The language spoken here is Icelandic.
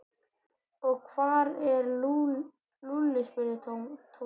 Og hvar er Lúlli? spurði Tóti.